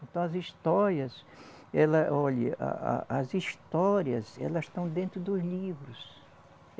Então, as histórias ela. Olhe, a a as histórias, elas estão dentro dos livros.